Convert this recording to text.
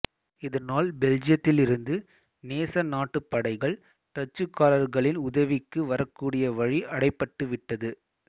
இதனால் பெல்ஜியத்திலிருந்து நேச நாட்டுப் படைகள் டச்சுக்காரர்களின் உதவிக்கு வரக்கூடிய வழி அடைபட்டுவிட்டது